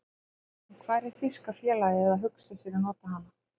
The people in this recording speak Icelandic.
En hvar er þýska félagið að hugsa sér að nota hana?